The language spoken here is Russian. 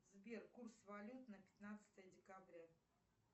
сбер курс валют на пятнадцатое декабря